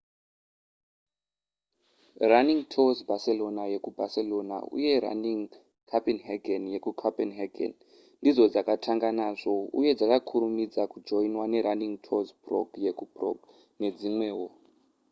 running tours barcelona yekubarcelona uye running copenhagen yekucopenhagen ndidzo dzakatanga nazvo uye dzakakurumidza kujoinwa nerunning tours prague yekuprague nedzimwewo